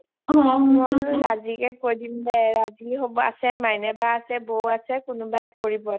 অঅঅ মই বুলো ৰাজিকে কয় দিম দে ৰাজি আছে মাইনা বা আছে বৌ আছে কোনোবাই কৰিব